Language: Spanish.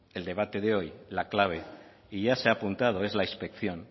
el debate de hoy la clave y ya se ha apuntado es la inspección